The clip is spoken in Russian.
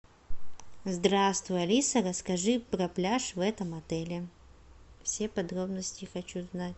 здравствуй алиса расскажи про пляж в этом отеле все подробности хочу знать